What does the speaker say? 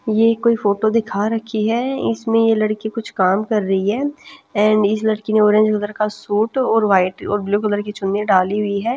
ये कोई फोटो दिखा रखी है इसमें ये लड़की कुछ काम कर रही है एंड इस लड़की ने ऑरेंज कलर का सूट और वाइट और ब्लू कलर की चुन्नी डाली हुई है।